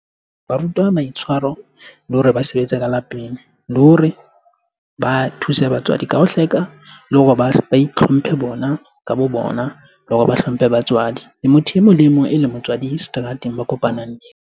Ba rutwa maitshwaro le hore ba sebetse ka lapeng. Le hore ba thuse batswadi ka ho hleka, le hore ba itlhomphe bona ka bo bona le hore ba hlomphe batswadi. Le motho e mong le e mong eleng motswadi seterateng ba kopanang.